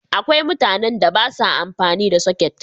Akwai mutanen da ba sa amfani da soket.